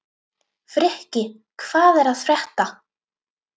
Frikki, hvað er að frétta?